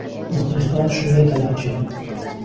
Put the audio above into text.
Muxlislar shunday talabchan.